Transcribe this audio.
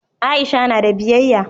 Aisha na da biyayya